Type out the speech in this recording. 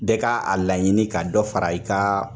Bɛɛ k'a laɲini ka dɔ fara i kaa